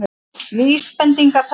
Vísbendingar- sagði hann.